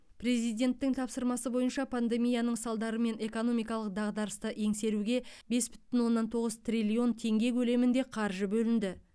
президенттің тапсырмасы бойынша пандемияның салдары мен экономикалық дағдарысты еңсеруге бес бүтін оннан тоғыз триллион теңге көлемінде қаржы бөлінді